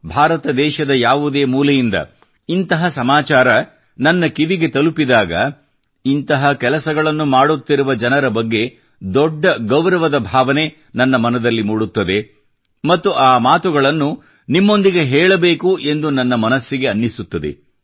ಭಾರತ ದೇಶದ ಯಾವುದೇ ಮೂಲೆಯಿಂದ ಇಂತಹ ಸಮಾಚಾರಗಳು ನನ್ನ ಕಿವಿಗೆ ತಲುಪಿದಾಗ ಇಂತಹ ಕೆಲಸಗಳನ್ನು ಮಾಡುತ್ತಿರುವ ಜನರ ಬಗ್ಗೆ ದೊಡ್ಡ ಗೌರವದ ಭಾವನೆ ನನ್ನ ಮನದಲ್ಲಿ ಮೂಡುತ್ತದೆ ಮತ್ತು ಆ ಮಾತುಗಳನ್ನು ನಿಮ್ಮೊಂದಿಗೆ ಹೇಳಬೇಕು ಎಂದು ನನ್ನ ಮನಸ್ಸಿಗೆ ಅನ್ನಿಸುತ್ತದೆ